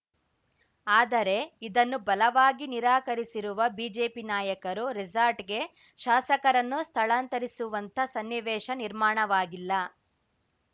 ಆದರೆ ಇದನ್ನು ಬಲವಾಗಿ ನಿರಾಕರಿಸಿರುವ ಬಿಜೆಪಿ ನಾಯಕರು ರೆಸಾರ್ಟ್‌ಗೆ ಶಾಸಕರನ್ನು ಸ್ಥಳಾಂತರಿಸುವಂಥ ಸನ್ನಿವೇಶ ನಿರ್ಮಾಣವಾಗಿಲ್ಲ